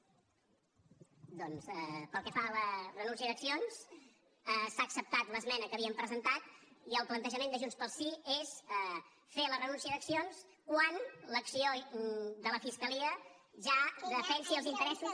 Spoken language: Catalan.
doncs pel que fa a la renúncia d’accions s’ha acceptat l’esmena que havíem presentat i el plantejament de junts pel sí és fer la renúncia d’accions quan l’acció de la fiscalia ja defensi els interessos